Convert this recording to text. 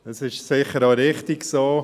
Dies ist sicher auch richtig so;